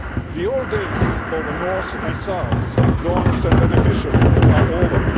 The old days of North and South, donors and beneficiaries, are over.